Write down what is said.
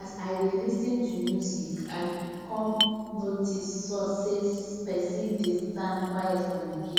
as i dey lis ten to music i come notice say person dey stand quiet for my gate